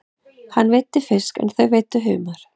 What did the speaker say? Hann veiddi fisk en þau veiddu humar.